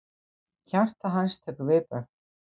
Hjarta hans tekur viðbragð.